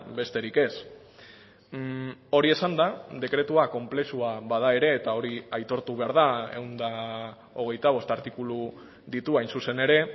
besterik ez hori esanda dekretua konplexua bada ere eta hori aitortu behar da ehun eta hogeita bost artikulu ditu hain zuzen ere